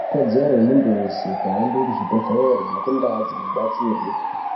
Ikodzero yemuntu vese kuhambe kuchibhedhlere nekundaa dzinobatsirwe.